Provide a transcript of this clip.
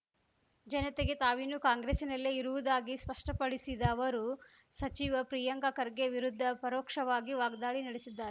ಜನತೆಗೆ ತಾವಿನ್ನು ಕಾಂಗ್ರೆಸ್ಸಿನಲ್ಲೇ ಇರುವುದಾಗಿ ಸ್ಪಷ್ಪಪಡಿಸಿದ ಅವರು ಸಚಿವ ಪ್ರಿಯಾಂಕ ಖರ್ಗೆ ವಿರುದ್ಧ ಪರೋಕ್ಷವಾಗಿ ವಾಗ್ದಾಳಿ ನಡೆಸಿದ್ದಾರೆ